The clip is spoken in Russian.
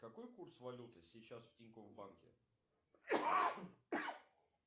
какой курс валюты сейчас в тинькофф банке